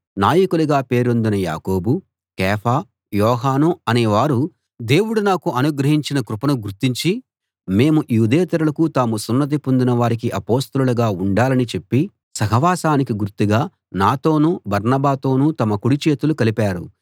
నాయకులుగా పేరొందిన యాకోబు కేఫా యోహాను అనే వారు దేవుడు నాకు అనుగ్రహించిన కృపను గుర్తించి మేము యూదేతరులకూ తాము సున్నతి పొందిన వారికీ అపొస్తలులుగా ఉండాలని చెప్పి సహవాసానికి గుర్తుగా నాతోనూ బర్నబాతోనూ తమ కుడి చేతులు కలిపారు